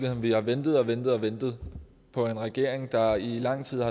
at vi har ventet og ventet ventet på en regering der i lang tid